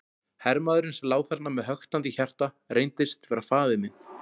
Hermaðurinn sem lá þarna með höktandi hjarta reyndist vera faðir minn.